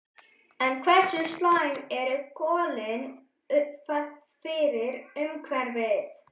En hversu slæm eru kolin fyrir umhverfið?